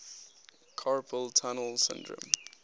carpal tunnel syndrome